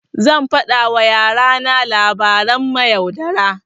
Zan faɗa wa yara na labaran mayaudara.